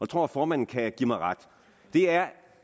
tror at formanden kan give mig ret og det er